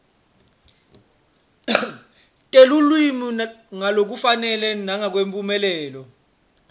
telulwimi ngalokufanele nangemphumelelo